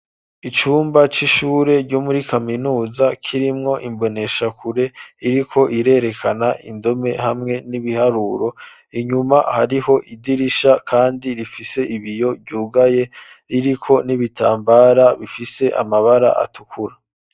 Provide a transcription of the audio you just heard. Icumba c'ishure ryomuri kaminuza kirimwo imboneshakure iriko irerekana indome hamwe n'ibiharuro inyuma hariho idirisha kandi rifise ibiyo vyugaye ririko n'ibitambara bifise amabara atukura.